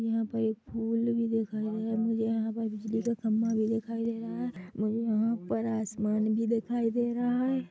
यहाँ पर एक फुल भी दिखाई दे रहा है मुझे यहाँ पर बिजली का खंबा भी दिखाई दे रहा हैऔर यहाँ ऊपर आसमान भी दिखाई दे रहा है।